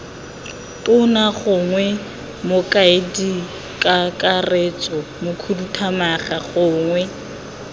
tona gongwe mokaedikakaretso mokhuduthamaga gongwe